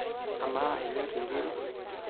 Amaa, inyorr inkiri?